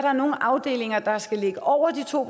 er nogle afdelinger der skal ligge over de to